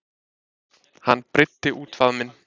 Hann breiddi út faðminn.